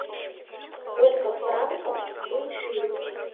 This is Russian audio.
сколько франков стоит шиллинг